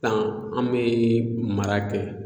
Tan an be mara kɛ